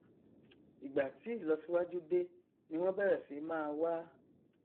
ìgbà tí ìlọsíwájú dé ni wọn bẹrẹ sí máa wá